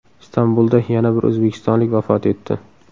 Istanbulda yana bir o‘zbekistonlik vafot etdi .